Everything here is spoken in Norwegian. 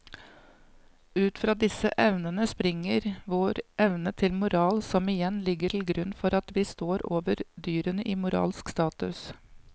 Ut fra disse evnene springer vår evne til moral som igjen ligger til grunn for at vi står over dyrene i moralsk status.